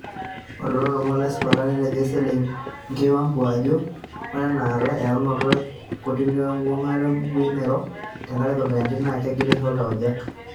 Ore to lomon lo sipat otejo eselengei Wambua ajo, "ore eenata, eyaunoto ee kortini woo enguata oo mbukui nairo tengaraki Covid-19 na kengilisho taujak